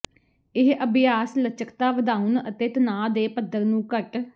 ਇਹ ਅਭਿਆਸ ਲਚਕਤਾ ਵਧਾਉਣ ਅਤੇ ਤਣਾਅ ਦੇ ਪੱਧਰ ਨੂੰ ਘੱਟ